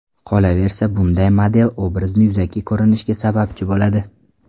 Qolaversa bunday model, obrazni yuzaki ko‘rinishiga sababchi bo‘ladi.